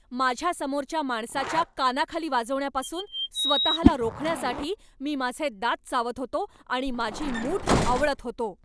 माझ्यासमोरच्या माणसाच्या कानाखाली वाजवण्यापासून स्वतःला रोखण्यासाठी मी माझे दात चावत होतो आणि माझी मूठ आवळत होतो.